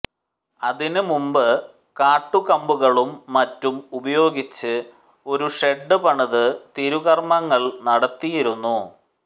അതിനുമുമ്പ് കാട്ടുകമ്പും മറ്റും ഉപയോഗിച്ച് ഒരു ഷെഡ് പണിത് തിരുക്കർമങ്ങൾ നടത്തിയിരുന്നു